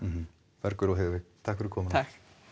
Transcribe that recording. Bergur og Heiðveig takk fyrir komuna takk